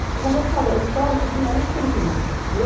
Porque, como eu te falei, a estrada que tinha era um trilho.